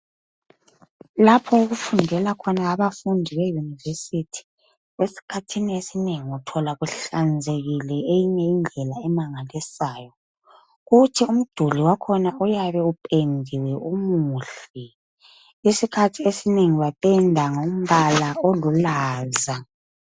Lapho okufundela khona abafundi be university esikhathini esinengi uthola kuhlanzekile eyinye indlela emangalisayo kuthi umduli wakhona uyabe upendiwe umuhle, isikhathi esinengi bapenda ngombala olulaza.